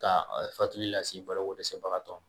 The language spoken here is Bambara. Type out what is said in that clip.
Ka fatuli lase bolokodɛsɛbagatɔ ma